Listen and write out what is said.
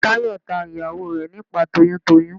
Táyọ̀ ta ìyàwó rẹ̀ nípàá toyún toyún.